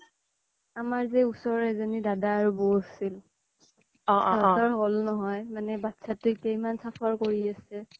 আমাৰ ওচৰৰে এজনী দাদা আৰু বৌ আছিল সিহঁতৰ হ'ল নহয় মানে বচ্ছাটোক এতিয়া ইমান suffer কৰি আছে